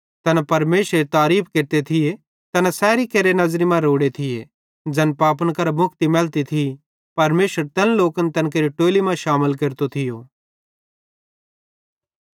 तैना परमेशरेरी तारीफ़ केरते थिये तैना सैरी केरि नज़री मां रोड़े थिये ज़ैन पापन करां मुक्ति मैलती थी परमेशर तैन लोकन तैन केरि टोलि मां शामिल केरतो थियो